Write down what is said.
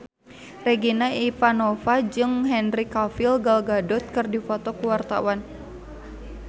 Regina Ivanova jeung Henry Cavill Gal Gadot keur dipoto ku wartawan